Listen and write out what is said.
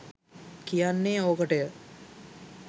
කියන්නේ ඕකට ය.